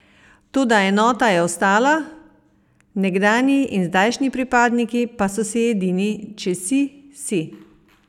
Toda enota je ostala, nekdanji in zdajšnji pripadniki pa so si edini: "Če si, si.